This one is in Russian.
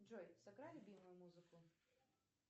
джой сыграй любимую музыку